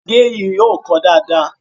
Gègé yìí kò kọ dáadáa.